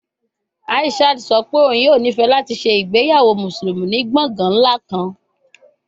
Aishat sọ pe oun yoo nifẹ lati ṣe igbeyawo Musulumi ni gbongan nla kan